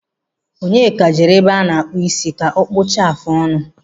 Onyeka jere ebe ánà-àkpù isi kà ọ kpụchatụ áfụ ọnụ.